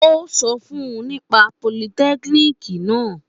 Ó sọ fun nípa politẹ́kiniki naa